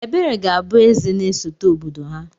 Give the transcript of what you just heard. Ebere ga-abụ Eze na-esote obodo ha..